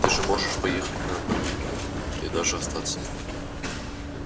ты же можешь поехать на барбекю и даже остаться